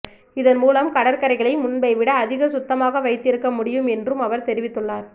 இதன் மூலம் கடற்கரைகளை முன்பை விட அதிக சுத்தமாக வைத்திருக்க முடியும் என்றும் அவர் தெரிவித்துள்ளார்